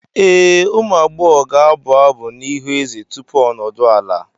Ee, ụmụ agbọghọ ga-abụ abụ n'ihu eze tupu o nodu ala.